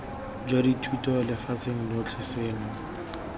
jwa dithuto lefatsheng lotlhe seno